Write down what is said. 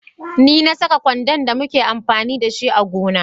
Ne na Saka kwando da muke amfani da shi a gona.